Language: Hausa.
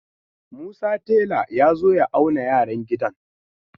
Musa tela ya zo ya auna yaran gidan.